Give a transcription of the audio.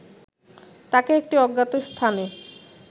তাকে একটি অজ্ঞাত স্থানে